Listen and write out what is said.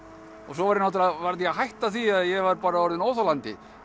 svo varð ég að hætta því ég var orðinn óþolandi